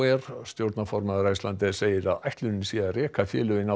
air stjórnarformaður Icelandair segir að ætlunin sé að reka félögin